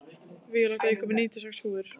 Víóletta, ég kom með níutíu og sex húfur!